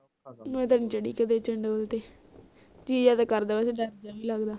ਮੈਂ ਤਾ ਨੀ ਚੜ੍ਹੀ ਕੀਤੇ ਚੰਡੋਲ ਤੇ ਜੀ ਜਾ ਤੇ ਕਰਦਾ ਵੈਸੇ ਡਰ ਜਾ ਵੀ ਲਗਦਾ